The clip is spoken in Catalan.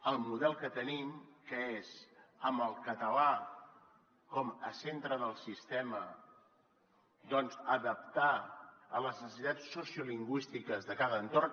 el model que tenim que és amb el català com a centre del sistema doncs adaptar a les necessitats sociolingüístiques de cada entorn